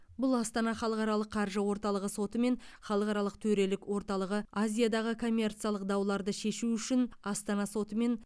бұл астана халықаралық қаржы орталығы соты мен халықаралық төрелік орталығы азиядағы коммерциялық дауларды шешу үшін астана соты мен